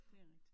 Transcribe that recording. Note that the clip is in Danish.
Det rigtig